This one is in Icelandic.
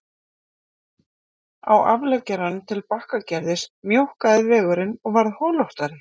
Á afleggjaranum til Bakkagerðis mjókkaði vegurinn og varð holóttari